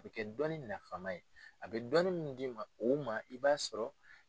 A bɛ kɛ dɔnni nafama ye a bɛ dɔnni min d'u ma i b'a sɔrɔ.